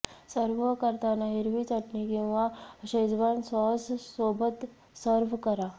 serve करताना हिरवी चटणी किंवा शेजवॉन सॉस सोबत सर्व्ह करा